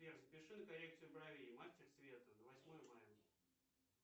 сбер запиши на коррекцию бровей мастер света на восьмое мая